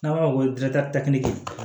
N'an b'a fɔ ko